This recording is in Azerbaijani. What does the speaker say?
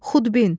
Xudbin.